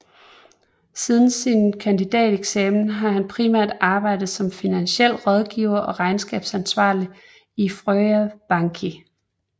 Siden sin kandidateksamen har han primært arbejdet som finansiel rådgiver og regnskabsansvarlig i Føroya Banki